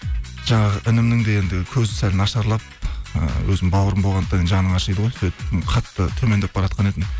жаңағы інімнің де енді көзі сәл нашарлап ыыы өзімнің бауырым болғандықтан жаның ашиды ғой сөйтіп қатты төмендеп баратқан еді